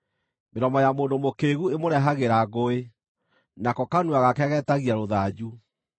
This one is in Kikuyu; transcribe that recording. Mĩromo ya mũndũ mũkĩĩgu ĩmũrehagĩra ngũĩ, nako kanua gake geetagia rũthanju.